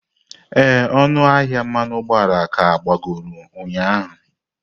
Ee, ọnụ ahịa mmanụ ụgbọala ka agbagoro ụnyaahụ.